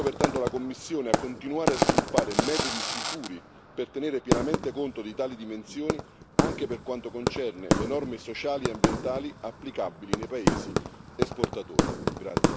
Invito pertanto la Commissione a continuare a sviluppare metodi sicuri per tenere pienamente conto di tali dimensioni, anche per quanto concerne le norme sociali e ambientali applicabili nei paesi esportatori.